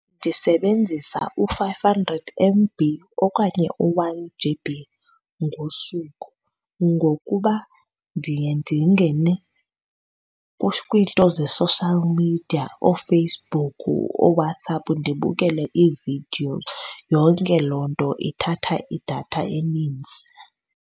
Ndisebenzisa u-five hundred M_B okanye u-one G_B ngosuku ngokuba ndiye ndingene kwiinto ze-social media, ooFacebook, ooWhatsApp ndibukele iividiyo, yonke loo nto ithatha idatha enintsi.